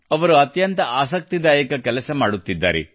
ಅವರು ಅತ್ಯಂತ ಆಸಕ್ತಿದಾಯಕ ಕೆಲಸವನ್ನು ಮಾಡುತ್ತಿದ್ದಾರೆ